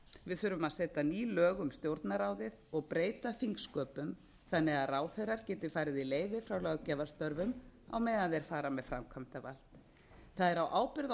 við þurfum að setja ný lög um stjórnarráðið og breyta þingsköpum þannig að ráðherrar geti farið í leyfi frá ráðgjafastörfum á meðan þeir fara með framkvæmdavaldið það er á ábyrgð